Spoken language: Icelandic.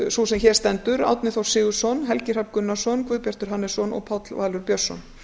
sú sem hér stendur árni þór sigurðsson helgi hrafn gunnarsson guðbjartur hannesson og páll valur björnsson